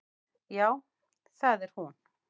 Já, það er hún.